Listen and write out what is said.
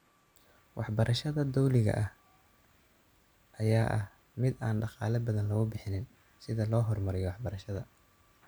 Waxbarashada dawliga ah ayaa ah mid aan dhaqaale badan lagubixinin sidha lohormariyo waxbarashada